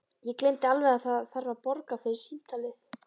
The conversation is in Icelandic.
Ég gleymdi alveg að það þarf að borga fyrir símtalið.